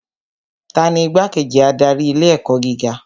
Tani Igbá-kejì adarí ilé ẹ̀kọ́ gíga